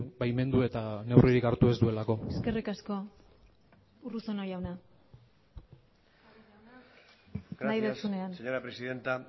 baimendu eta neurririk hartu ez duelako eskerrik asko urruzono jaunak nahi duzunean señora presidenta